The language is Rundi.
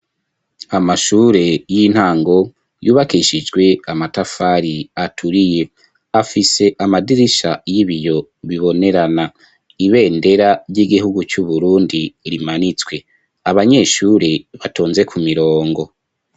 Amashure y'intango, yubakishijwe amatafari, aturiye; afise amadirisha y'ibiyo, bibonerana; ibendera ry'igihugu, c'Uburundi, rimanitswe; abanyeshure, batonze ku mirongo.